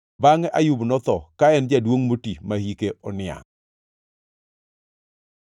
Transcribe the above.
Bangʼe Ayub notho, ka en jaduongʼ moti ma hike oniangʼ.